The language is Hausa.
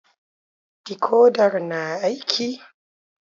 Dikodar na aiki?